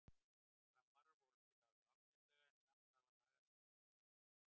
Framarar voru að spila alveg ágætlega en samt þarf að laga sendingarnar aðeins.